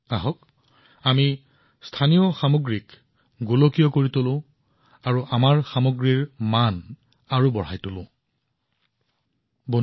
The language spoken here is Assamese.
আহক স্থানীয় সামগ্ৰীক গোলকীয় কৰি তোলে আৰু আমাৰ সামগ্ৰীৰ সুনাম অধিক বৃদ্ধি কৰোঁ আহক